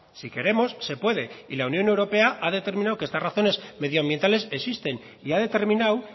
si queremos se puede y la unión europea ha determinado que estas razones medioambientales existen y ha determinado